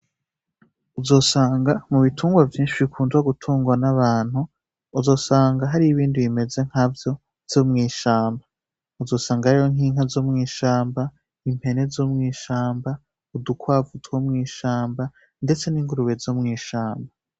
Uzosanga mu bitungwa vyinshi bikunzwa gutunguwa n'abantu uzosanga hari ibindi bimeze nk'a vyo zo mwishamba uzosanga ahariyo nk'inka zo mwishamba impene zo mwishamba udukwavu two mwishamba, ndetse n'ingurube zo mwishamba.